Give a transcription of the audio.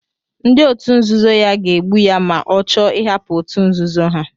Ndị òtù nzuzo ya ga-egbu ya ma ọ chọọ ịhapụ òtù nzuzo ha.